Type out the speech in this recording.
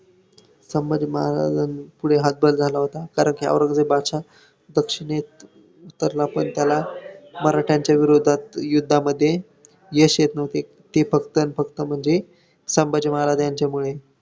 संभाजी महारांजापुढे हातभार झाला होता, कारण की औरंगजेब बादशाह दक्षिणेत उतरला, पण त्याला मराठ्यांच्या विरोधात युद्धामध्ये यश येत न्हवते ते फक्त आणि फक्त म्हणजे संभाजी महाराज यांच्यामुळे